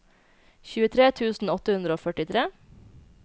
tjuetre tusen åtte hundre og førtitre